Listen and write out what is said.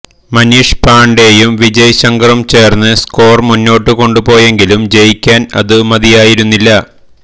മനീഷ് പാണ്ഡെയും വിജയ് ശങ്കറും ചേര്ന്നു സ്കോർ മുന്നോട്ടു കൊണ്ടുപോയെങ്കിലും ജയിക്കാൻ അതു മതിയായിരുന്നില്ല